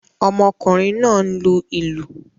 Ọmọkùnrin náà ń lu ìlù